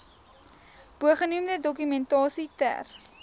bogenoemde dokumentasie ter